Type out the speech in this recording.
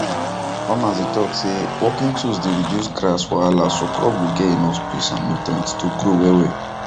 farmers dey talk say working tools dey reduce grass wahala so crop go get enough space and nutrients to grow wellwell